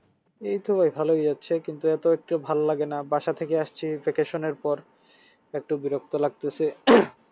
এইতো ভাই ভালোই যাচ্ছে কিন্তু এত একটা ভাল লাগেনা বাসা থেকে আসছি vacation এর পর একটু বিরক্ত লাগতেছে